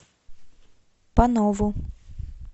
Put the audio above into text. панову